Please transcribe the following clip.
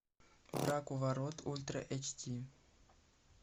враг у ворот ультра эйч ди